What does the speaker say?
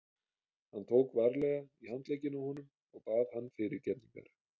Hann tók varlega í handlegginn á honum og bað hann fyrirgefningar.